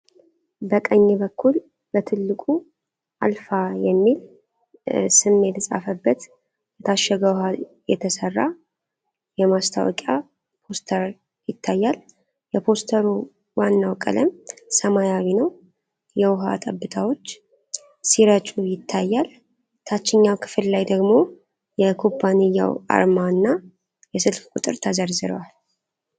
በቀኝ በኩል በትልቁ "አልፋ" የሚል ስም የተጻፈበት ለታሸገ ውሃ የተሰራ የማስታወቂያ ፖስተር ይታያል። የፖስተሩ ዋናው ቀለም ሰማያዊ ነው፣ የውሃ ጠብታዎች ሲረጩ ይታያል። ታችኛው ክፍል ላይ ደግሞ የኩባንያው አርማ እና የስልክ ቁጥሮች ተዘርዝረዋል።